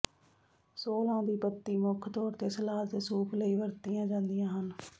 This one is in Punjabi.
ਸੋਲਾਂ ਦੀ ਪੱਤੀ ਮੁੱਖ ਤੌਰ ਤੇ ਸਲਾਦ ਅਤੇ ਸੂਪ ਲਈ ਵਰਤੀਆਂ ਜਾਂਦੀਆਂ ਹਨ